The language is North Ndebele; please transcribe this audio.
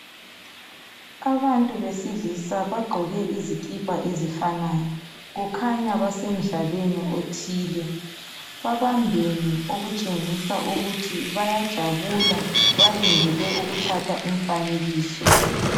Abantu besilisa bagqoke izikipa ezifanayo. Kukhanya basemdlalweni othile. Babambene okutshengisa ukuthi bayajabula, balindele ukuthatha umfanekiso.